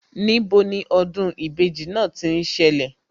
Níbo ni ọdún ìbejì náà tí ń ṣẹlẹ̀